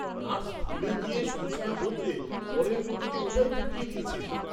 Nurse ভুলে গিয়ে সুঁচ না বদলে পরের রোগীকে ওটাই ফুটিয়ে দিয়েছেন।